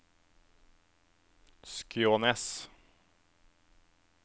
Skjånes